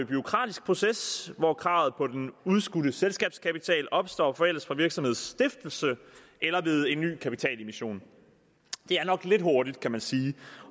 bureaukratisk proces hvor kravet på den udskudte selskabskapital opstår og forældes fra virksomhedens stiftelse eller ved en ny kapitalemission det er nok lidt hurtigt kan man sige